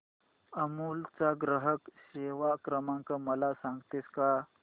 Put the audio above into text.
अमूल चा ग्राहक सेवा क्रमांक मला सांगतेस का